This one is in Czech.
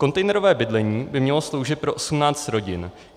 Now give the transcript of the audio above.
Kontejnerové bydlení by mělo sloužit pro 18 rodin.